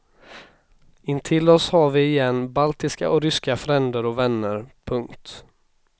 Intill oss har vi igen baltiska och ryska fränder och vänner. punkt